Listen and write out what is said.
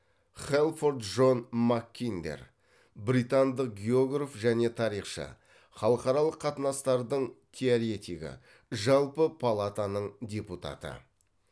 хэлфорд джон маккиндер британдық географ және тарихшы халықаралық катынастардың теоретигі жалпы палатаның депутаты